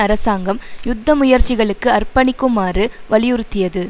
அரசாங்கம் யுத்த முயற்சிகளுக்கு அர்ப்பணிக்குமாறு வலியுறுத்தியது